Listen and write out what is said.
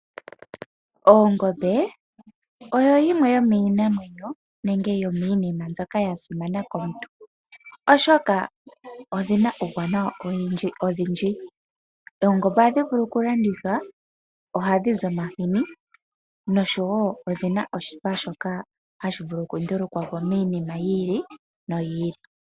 Ongombe oyo yimwe yomiinamwenyo nenge yomiinima mbyoka ya simana komuntu, oshoka odhi na uuwanawa owundji. Oongombe ohadhi vulu okulandithwa, ohadhi zi omahini nosho wo odhi na oshipa shoka hashi vulu okundulukwa po miinima yi ili noyi ili.